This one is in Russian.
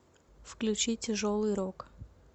включи тяжелый рок